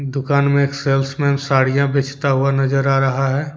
दुकान में एक सेल्समेन साड़ियां बेचता हुआ नजर आ रहा है।